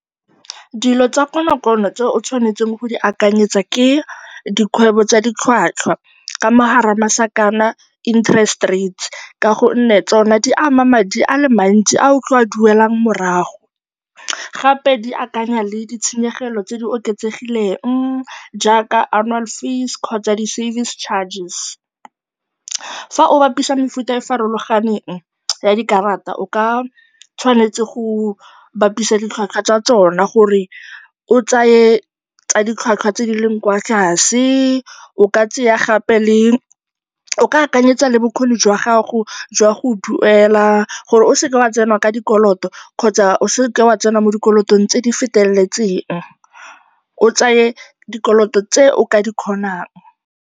Dilo tsa konokono tse o tshwanetseng go di akanyetsa ke dikgwebo tsa ditlhwatlhwa, ka mo gare ga masakana, interest rates, ka gonne tsona di ama madi a le mantsi a o tlileng go a duela morago. Gape di akanya le ditshenyegelo tse di oketsegileng jaaka annual fees kgotsa di service charges. Fa o bapisa mefuta e e farologaneng ya dikarata, o tshwanetse go bapisa ditlhwatlhwa tsa tsona gore o tseye tsa ditlhwatlhwa tse di leng kwa tlase, o ka tsaya gape le, o ka akanyetsa le bokgoni jwa gago jwa go duela gore o seke wa tsena ka dikoloto kgotsa o se ke wa tsena mo dikolotong tse di feteletseng, o tseye dikoloto tse o ka di kgonang.